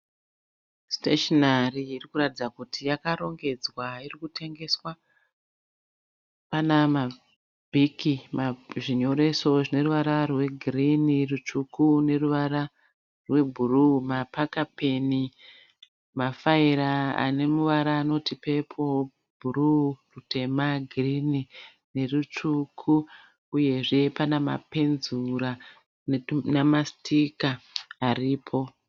Siteshenari iri kuratidza kuti yakarongedzwa iri kutengeswa. Pana mabhiki, zvinyoreso zvine ruvara rwegirini, rutsvuku neruvara rwebhuruu, mapakapeni, mafaira ane muvara anoti pepuro, bhuruu, rutema, girini nerutsvuku uyezve pana mapenzura namasitika aripo.